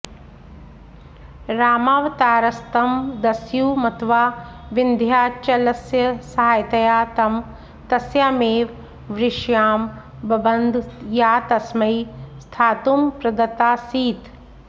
रामावतारस्तं दस्यु मत्वा विन्ध्याचलस्य सहायतया तं तस्यामेव वृष्यां बबन्ध या तस्मै स्थातुं प्रदत्तासीत्